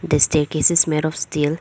The staircase is made of steel.